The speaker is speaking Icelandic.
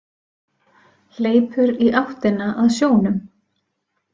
Hleypur í áttina að sjónum.